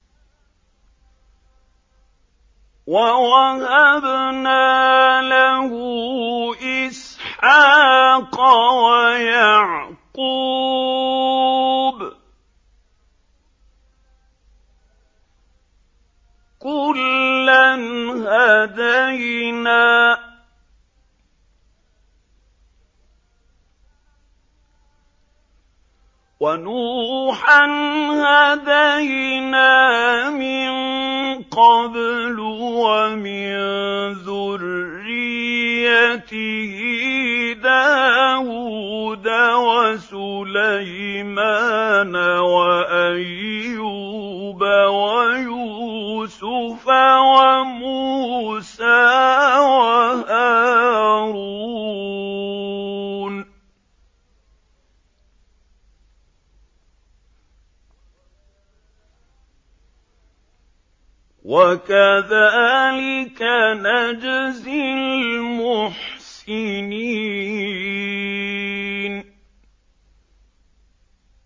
وَوَهَبْنَا لَهُ إِسْحَاقَ وَيَعْقُوبَ ۚ كُلًّا هَدَيْنَا ۚ وَنُوحًا هَدَيْنَا مِن قَبْلُ ۖ وَمِن ذُرِّيَّتِهِ دَاوُودَ وَسُلَيْمَانَ وَأَيُّوبَ وَيُوسُفَ وَمُوسَىٰ وَهَارُونَ ۚ وَكَذَٰلِكَ نَجْزِي الْمُحْسِنِينَ